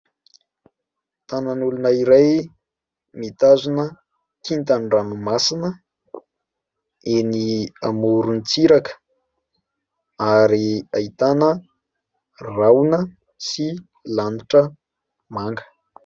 Tanan'olona iray mitazona kintan-dranomasina eny amoron-tsiraka, ary ahitana rahona sy lanitra manga.